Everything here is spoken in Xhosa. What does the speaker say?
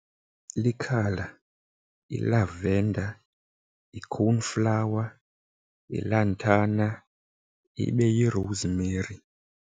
Likhala, yi-lavender, yi-cornflower, yi-lantana, ibe yi-rosemary.